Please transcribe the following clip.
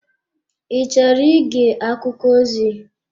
Ị chọrọ ige akụkọ ozi?